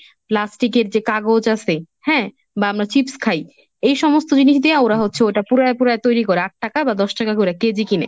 প্লাস্টিকের যে কাগজ আছে হ্যাঁ বা আমরা চিপস খাই এই সমস্ত জিনিস দিয়ে ওরা হচ্ছে ওটা পুরায় পুরায় তৈরি করে আট টাকা বা দশ টাকা করে কেজি কিনে।